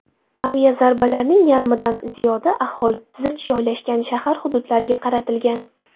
Aviazarbalarning yarmidan ziyodi aholi zich joylashgan shahar hududlariga qaratilgan.